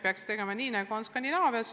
Peaksime tegema nii, nagu on Skandinaavias.